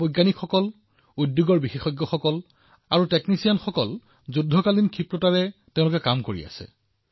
আমাৰ কিমানজন বিজ্ঞানী উদ্যোগৰ বিশেষজ্ঞ আৰু টেকনিচিয়ানেও যুদ্ধৰ গতিত কাম কৰি আছে